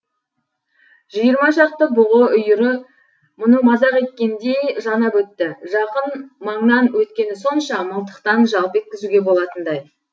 жиырма шақты бұғы үйірі мұны мазақ еткендей жанап өтті жақын маңнан өткені сонша мылтықтан жалп еткізуге болатындай